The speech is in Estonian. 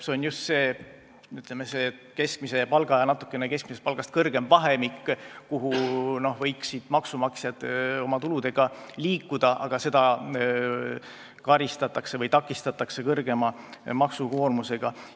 See on just keskmise palga ja natukene keskmisest palgast kõrgema palga vahemik, maksumaksjad võiksid oma tuludega sinna vahemikku liikuda, aga seda takistatakse kõrgema maksukoormusega.